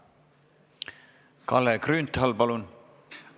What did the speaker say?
Kalle Grünthal, palun!